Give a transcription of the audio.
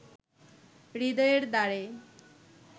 হৃদয়ের দ্বারে